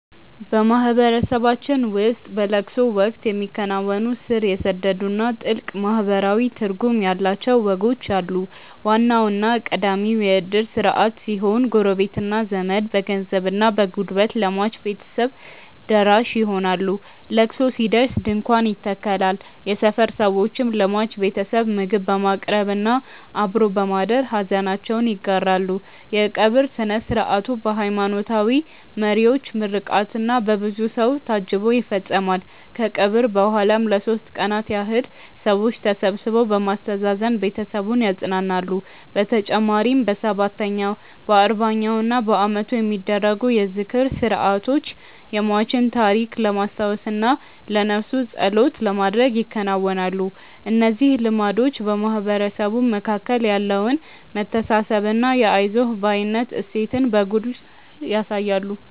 በማህበረሰባችን ውስጥ በለቅሶ ወቅት የሚከናወኑ ስር የሰደዱና ጥልቅ ማህበራዊ ትርጉም ያላቸው ወጎች አሉ። ዋናውና ቀዳሚው የእድር ስርዓት ሲሆን፣ ጎረቤትና ዘመድ በገንዘብና በጉልበት ለሟች ቤተሰቦች ደራሽ ይሆናሉ። ለቅሶ ሲደርስ ድንኳን ይተከላል፣ የሰፈር ሰዎችም ለሟች ቤተሰብ ምግብ በማቅረብና አብሮ በማደር ሐዘናቸውን ይጋራሉ። የቀብር ሥነ ሥርዓቱ በሃይማኖታዊ መሪዎች ምርቃትና በብዙ ሰው ታጅቦ ይፈጸማል። ከቀብር በኋላም ለሦስት ቀናት ያህል ሰዎች ተሰብስበው በማስተዛዘን ቤተሰቡን ያጸናናሉ። በተጨማሪም በሰባተኛው፣ በአርባኛውና በዓመቱ የሚደረጉ የዝክር ሥርዓቶች የሟችን ታሪክ ለማስታወስና ለነፍሱ ጸሎት ለማድረግ ይከናወናሉ። እነዚህ ልማዶች በማህበረሰቡ መካከል ያለውን መተሳሰብና የአይዞህ ባይነት እሴትን በጉልህ ያሳያሉ።